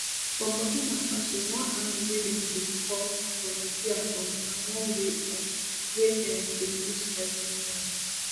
for burkina faso one army wey dem dey call volunteer um na one way um wey dem dey use fight militants